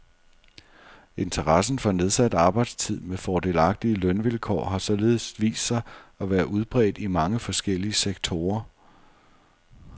Interessen for nedsat arbejdstid med fordelagtige lønvilkår har således vist sig at være udbredt i mange forskellige sektorer.